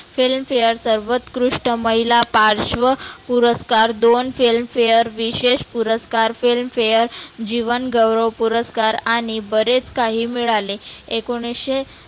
film fear सर्वोत्कृष्ट महिला पार्श्व पुरस्कार, दोन film fear विशेष पुरस्कार, film fear जिवन गौरव पुरस्कार, आणि बरेच काही मिळाले. एकोणीसशे